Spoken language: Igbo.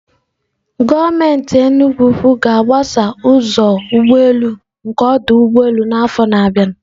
Gọọmenti Enugwu ga-agbasa ụzọ ụgbọ elu nke ọdụ ụgbọ elu n'afọ na-abịa.